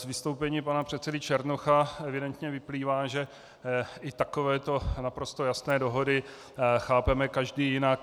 Z vystoupení pana předsedy Černocha evidentně vyplývá, že i takovéto naprosto jasné dohody chápeme každý jinak.